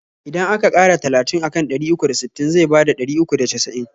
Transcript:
Idan aka ƙara talatin akan ɗari uku da sittin zai bada ɗari uku da casa'in